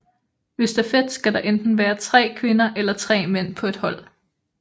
Ved stafet skal der enten være tre kvinder eller tre mænd på et hold